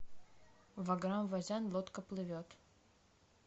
ваграм вазян лодка плывет